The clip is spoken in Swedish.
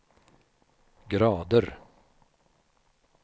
grader